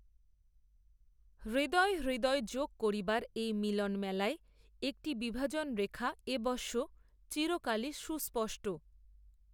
হৃদয়ে হৃদয় যোগ করিবার এই মিলনমেলায় একটি বিভাজনরেখা এবশ্য, চিরকালই সুস্পষ্ট